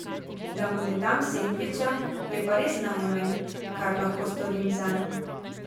Da mu ne dam sendviča, je pa res najmanj, kar lahko storim zanj.